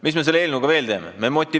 Mis me selle eelnõuga veel teeme?